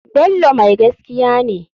Bello mai gaskiya ne.